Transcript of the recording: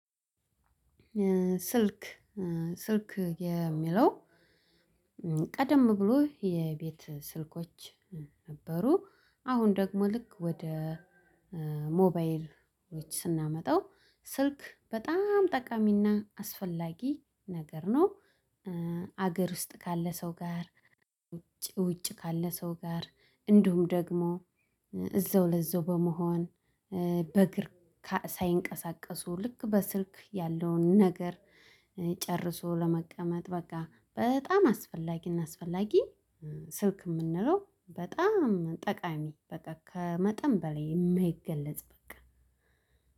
ስልክ ስልክ የሚለው። ቀደም ብሎ የቤት ስልኮች ነበሩ አሁን ደግሞ ልክ ወደ ሞባይሎች ስናመጣው ስልክ በጣም ጠቃሚ እና አስፈላጊ ነገር ነው። አገር ውስጥ ከላ ሰው ጋር። ውጭ ካለ ሰው ጋር እንድሁም ደግሞ እዛው ለዛው በመሆን በእግር ሳይንቀሳቀሱ ልክ በስልክ ያለውን ነገር። ጨርሶ ለመቀመጥ በቃ በጣም አስፈላጊ እና አስፈላጊ። ስልክ የምንለው በጣም ጠቃሚ በቃ ከመጠን በላይ የማይገለጽ በቃ